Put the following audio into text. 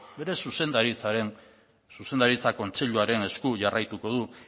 bere zuzendaritza kontseiluaren jarraituko du